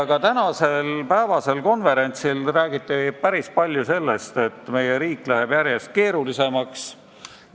Ka tänasel konverentsil räägiti päris palju sellest, et meie riik läheb järjest keerulisemaks.